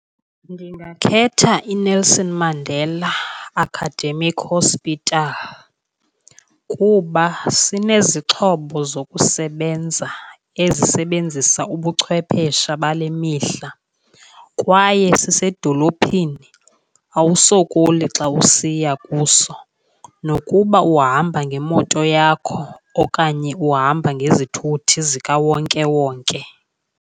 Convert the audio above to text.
Ndingakhetha iNelson Mandela Academic Hospital kuba sinezixhobo zokusebenza ezisebenzisa ubuchwephesha bale mihla. Kwaye sisedolophini, awusokoli xa usiya kuso nokuba uhamba ngemoto yakho okanye uhamba ngezithuthi zikawonkewonke.